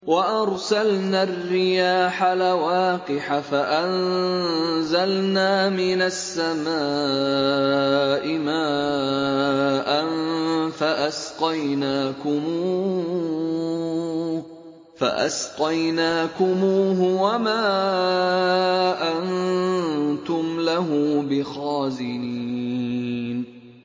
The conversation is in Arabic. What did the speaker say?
وَأَرْسَلْنَا الرِّيَاحَ لَوَاقِحَ فَأَنزَلْنَا مِنَ السَّمَاءِ مَاءً فَأَسْقَيْنَاكُمُوهُ وَمَا أَنتُمْ لَهُ بِخَازِنِينَ